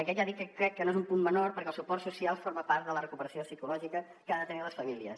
aquest ja dic que crec que no és un punt menor perquè el suport social forma part de la recuperació psicològica que han de tenir les famílies